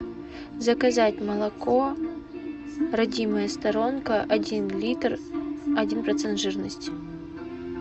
заказать молоко родимая сторонка один литр один процент жирности